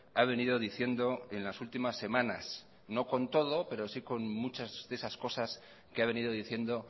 ha venido diciendo en las últimas semanas no con todo pero sí con muchas de esas cosas que ha venido diciendo